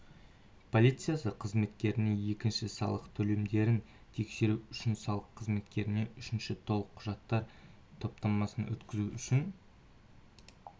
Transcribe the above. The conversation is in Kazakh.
полициясы қызметкеріне екіншісі салық төлемдерін тексеру үшін салық қызметкеріне үшіншісі толық құжаттар топтамасын өткізу үшін